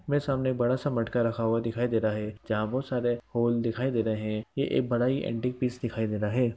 मेरे सामने एक बड़ा सा मटका रखा हुआ दिखाई दे रहा है जहां बहुत सारे होल दिखाई दे रहा है | ये एक बड़ा ही एंटीक पीस दिखायी दे रहा है।